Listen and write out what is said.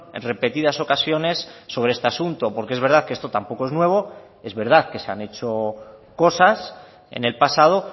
en repetidas ocasiones sobre este asunto porque es verdad que esto tampoco es nuevo es verdad que se han hecho cosas en el pasado